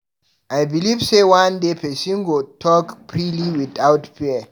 I beliv sey one day pesin go fit talk freely without fear.